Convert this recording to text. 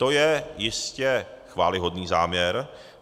To je jistě chvályhodný záměr.